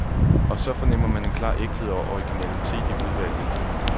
Og så fornemmer man en klar ægthed og originalitet i udvalget.